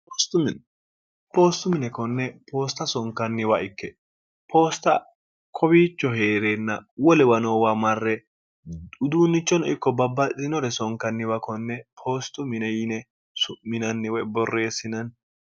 poostu mine konne poosta sonkanniwa ikke poosta kowiicho hee'reenna wo lewa noowa marre uduunnichonno ikko babbadinore sonkanniwa konne poostu mine yine su'minanniwe borreessinanni